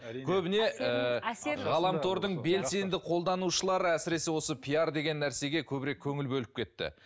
көбіне ііі ғаламтордың белсенді қолданушылары әсіресе осы пиар деген нәрсеге көбірек көңіл бөліп кетті